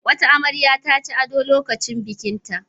Wata amarya ta ci ado lokacin bikinta.